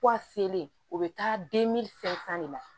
Puwa selen o bɛ taa fɛn san de la